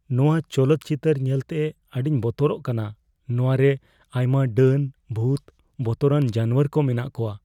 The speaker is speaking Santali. ᱱᱚᱶᱟ ᱪᱚᱞᱚᱛ ᱪᱤᱛᱟᱹᱨ ᱧᱮᱞᱛᱮ ᱟᱹᱰᱤᱧ ᱵᱚᱛᱚᱨᱜ ᱠᱟᱱᱟ ᱾ ᱱᱚᱶᱟ ᱨᱮ ᱟᱭᱢᱟ ᱰᱟᱹᱱ, ᱵᱷᱩᱛ, ᱵᱚᱛᱚᱨᱟᱱ ᱡᱟᱱᱣᱟᱨ ᱠᱚ ᱢᱮᱱᱟᱜ ᱠᱚᱣᱟ ᱾